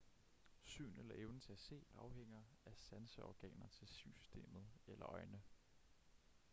syn eller evnen til at se afhænger af sanseorganer til synssystemet eller øjne